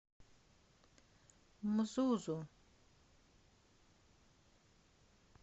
мзузу